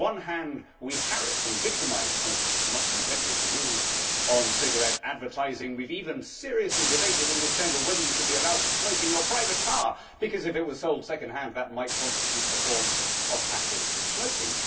With one hand we harass and victimise smokers not content with the rules on cigarette advertising, we have even seriously debated in this Chamber whether you should be allowed to smoke in your private car, because if it was sold second hand that might constitute a form of passive smoking.